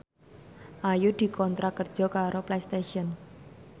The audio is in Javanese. Ayu dikontrak kerja karo Playstation